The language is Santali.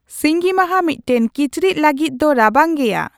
ᱥᱤᱸᱜᱤᱢᱟᱦᱟ ᱢᱤᱫᱴᱟᱝ ᱠᱤᱪᱨᱤᱪ ᱞᱟᱹᱜᱤᱫ ᱫᱚ ᱨᱟᱵᱟᱝ ᱜᱮᱭᱟ